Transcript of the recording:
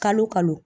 Kalo kalo